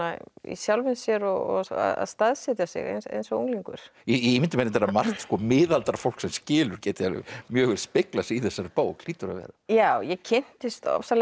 í sjálfum sér og að staðsetja sig eins eins og unglingur ég ímynda mér að margt miðaldra fólk sem skilur geti alveg mjög vel speglað sig í þessari bók hlýtur að vera já ég kynntist